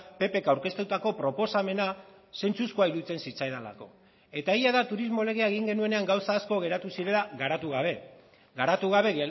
ppk aurkeztutako proposamena zentzuzkoa iruditzen zitzaidalako eta egia da turismo legea egin genuenean gauza asko geratu zirela garatu gabe garatu gabe